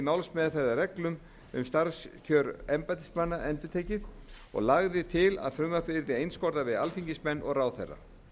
málsmeðferðarreglum um starfskjör embættismanna endurtekið og lagði til að frumvarpið yrði einskorðað við alþingismenn og ráðherra